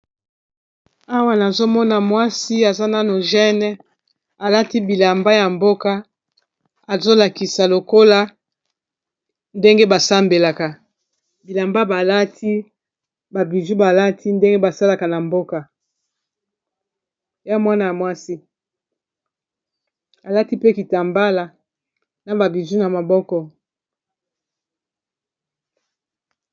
Awa nazomona mwasi aza nano jeune alati bilamba ya mboka azolakisa lokola ndenge ba sambelaka bilamba balati ba bijou balati ndenge basalaka na mboka ya mwana ya mwasi alati pe kitambala na ba bijou na maboko.